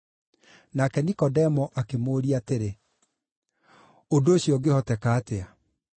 Nake Nikodemo akĩmũũria atĩrĩ, “Ũndũ ũcio ũngĩhoteka atĩa?”